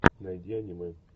найди аниме